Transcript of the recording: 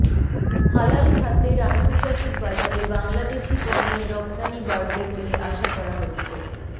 হালাল খাদ্যের আন্তর্জাতিক বাজারে বাংলাদেশি পণ্যের রপ্তানি বাড়বে বলে আশা করা হচ্ছে